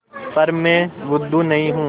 पर मैं बुद्धू नहीं हूँ